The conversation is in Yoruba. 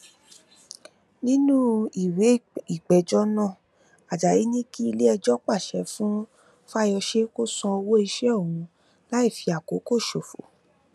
nínú ìwé ìpéjọ náà ajayi ní kí iléẹjọ pàṣẹ fún fáyọsé kó san owó iṣẹ òun láì fi àkókò ṣòfò